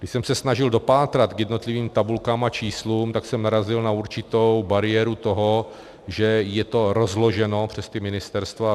Když jsem se snažil dopátrat k jednotlivým tabulkám a číslům, tak jsem narazil na určitou bariéru toho, že je to rozloženo přes ta ministerstva.